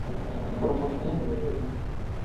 пробуждение жизни